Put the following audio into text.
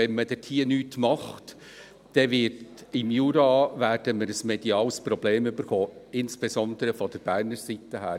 Wenn man hier nichts tut, werden wir im Jura ein mediales Problem bekommen, insbesondere von der Berner Seite her.